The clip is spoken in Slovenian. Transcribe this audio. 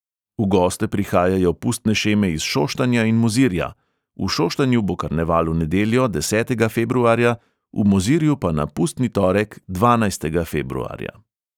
V goste prihajajo pustne šeme iz šoštanja in mozirja; v šoštanju bo karneval v nedeljo, desetega februarja, v mozirju pa na pustni torek, dvanajstega februarja.